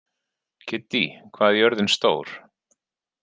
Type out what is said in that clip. Kiddý, hvað er jörðin stór?